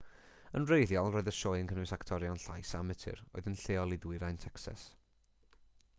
yn wreiddiol roedd y sioe yn cynnwys actorion llais amatur oedd yn lleol i ddwyrain tecsas